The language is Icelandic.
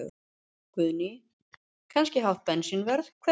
Guðný: Kannski hátt bensínverð, hver veit?